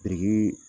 Biriki